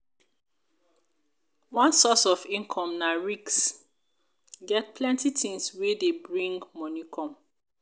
one source of income na get plenty things wey dey bring money come